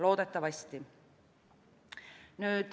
Loodetavasti.